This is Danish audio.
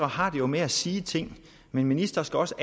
har det med at sige ting men ministre skal også